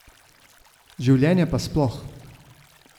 Življenje pa sploh.